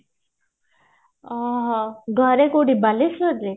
ଓଃହୋ ଘରେ କୋଉଠି ବାଲେଶ୍ଵର ରେ